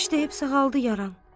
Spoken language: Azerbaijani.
İşdəyib sağaldı yaran.